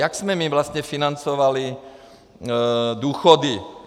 Jak jsme my vlastně financovali důchody?